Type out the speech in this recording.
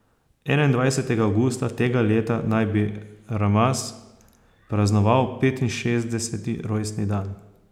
Enaindvajsetega avgusta tega leta naj bi Ramaz praznoval petinšestdeseti rojstni dan.